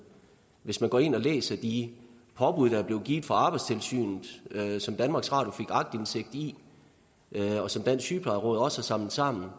hvis man går ind og læser de påbud der er blevet givet fra arbejdstilsynet og som danmarks radio har aktindsigt i og som dansk sygeplejeråd også har samlet sammen